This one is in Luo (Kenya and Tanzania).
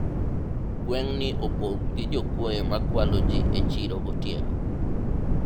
gweng' ni opong' gi jokuoye makwalo ji e chiro gotieno